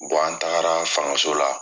an taagara fangaso la